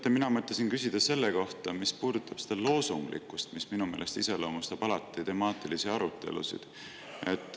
Teate, mina mõtlesin küsida selle kohta, mis puudutab seda loosunglikkust, mis minu meelest iseloomustab alati temaatilisi arutelusid.